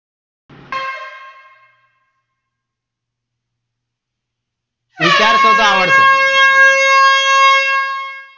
વિચાર કરતાં આવડશે.